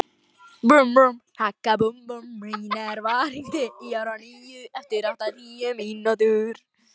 Mínerva, hringdu í Aroníu eftir áttatíu mínútur.